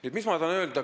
Mis ma öelda tahan?